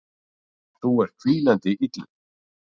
Þú ert hvínandi illur.